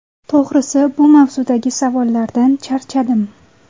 To‘g‘risi, bu mavzudagi savollardan charchadim.